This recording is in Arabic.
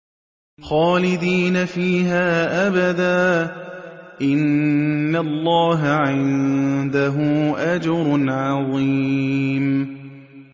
خَالِدِينَ فِيهَا أَبَدًا ۚ إِنَّ اللَّهَ عِندَهُ أَجْرٌ عَظِيمٌ